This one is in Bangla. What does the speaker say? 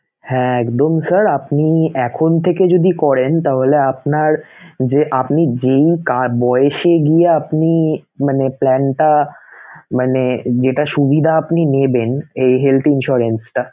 হ্যাঁ একদম sir আপনি এখন থেকে যদি করেন তাহলে আপনার~ যে আপনি যেই কার বয়সে গিয়ে আপনি মানে plan টা মানে যেটা সুবিধা আপনি নেবেন এই health insurance